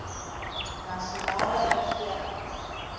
nasionale regering